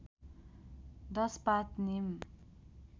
१० पात निम